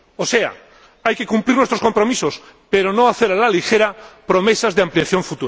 O sea, hay que cumplir nuestros compromisos, pero no hacer a la ligera promesas de futuras ampliaciones.